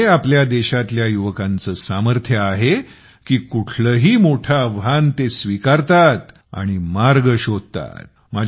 आणि हे आपल्या देशातील युवकांचं सामर्थ्य आहे की कुठलंही मोठं आव्हान स्वीकारतात आणि मार्ग शोधतात